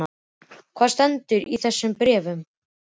Og hvað stendur í þeim bréfum?